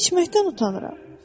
İçməkdən utanıram.